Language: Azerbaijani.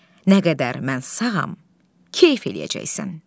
Nə qədər mən sağam, kef eləyəcəksən.